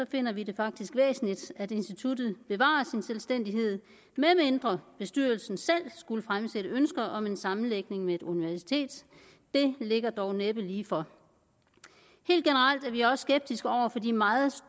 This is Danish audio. finder vi det faktisk væsentligt at instituttet bevarer sin selvstændighed medmindre bestyrelsen selv skulle fremsætte ønske om en sammenlægning med et universitet det ligger dog næppe lige for helt generelt er vi også skeptiske over for de meget